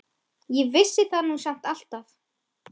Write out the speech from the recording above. Ég vissi það nú samt alltaf.